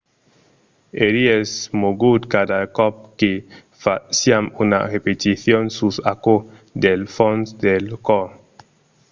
"èri esmogut cada còp que fasiam una repeticion sus aquò del fons del còr.